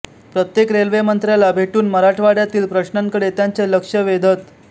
प्रत्येक रेल्वेमंत्र्याला भेटून मराठवाडय़ातील प्रश्नांकडे त्यांचे लक्ष वेधत